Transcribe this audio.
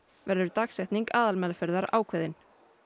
verður dagsetning aðalmeðferðar ákveðin